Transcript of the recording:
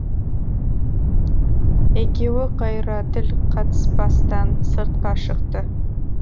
екеуі қайыра тіл қатыспастан сыртқа шықты